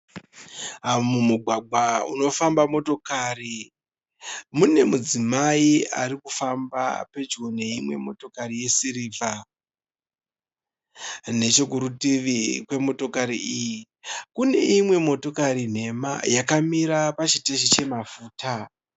Mugwagwa unofamba motokari mune mudzimai ari kufamba pedyo neimwe motokari yesirivha. Nechekurutivi kwemotokari iyi kune imwe motokari nhema yakamira pachiteshi chemafuta.